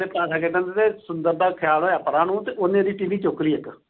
ਤੇ ਪਾਸਾ ਖੇਡਣ ਡਏ ਤੇ ਸੁੰਦਰ ਦਾ ਖਿਆਲ ਹੋਇਆ ਪਰਾ ਨੂੰ ਤੇ ਉਹਨੇ ਇਹਦੀ ਟੀਹਵੀ ਚੁੱਕ ਲਈ ਇੱਕ।